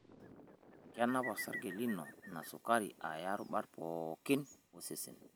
Kenap osarge lino ina sukari aya rubat pookin osesen.